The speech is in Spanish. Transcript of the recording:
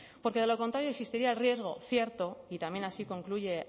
porque de lo contrario existiría el riesgo cierto también así concluye